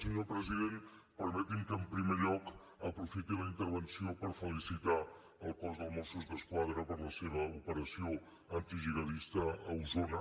senyor president permeti’m que en primer lloc aprofiti la intervenció per felicitar el cos de mossos d’esquadra per la seva operació antigihadista a osona